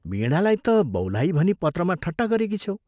वीणालाई त बौलाही भनी पत्रमा ठट्टा गरेकी छ्यौ।